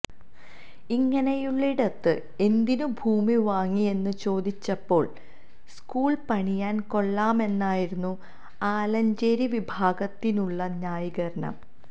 ഇങ്ങനെയുള്ളിടത്ത് എന്തിനു ഭൂമി വാങ്ങിയെന്നു ചോദിച്ചപ്പോള് സ്കൂള് പണിയാന് കൊള്ളാമെന്നായിരുന്നു ആലഞ്ചേരി വിഭാഗത്തിനുള്ള ന്യായീകരണം